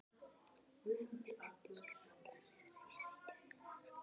Hemmi lætur sig falla niður í sætið hennar.